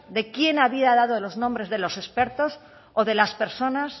de quién había dado los nombres de los expertos o de las personas